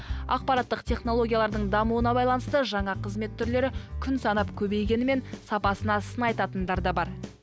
ақпараттық технологиялардың дамуына байланысты жаңа қызмет түрлері күн санап көбейгенімен сапасына сын айтатындар да бар